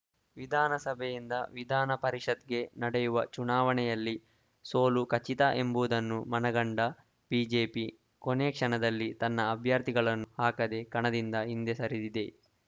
ವಿಧಾನಸಭೆಯಿಂದ ವಿಧಾನಪರಿಷತ್‌ಗೆ ನಡೆಯುವ ಚುನಾವಣೆಯಲ್ಲಿ ಸೋಲು ಖಚಿತ ಎಂಬುದನ್ನು ಮನಗಂಡ ಬಿಜೆಪಿ ಕೊನೆ ಕ್ಷಣದಲ್ಲಿ ತನ್ನ ಅಭ್ಯರ್ಥಿಗಳನ್ನು ಹಾಕದೆ ಕಣದಿಂದ ಹಿಂದೆ ಸರಿದಿದೆ